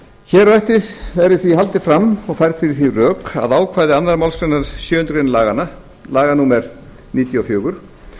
hér á eftir verður því haldið fram og færð fyrir því rök að ákvæði önnur málsgrein sjöundu grein laga númer níutíu og fjögur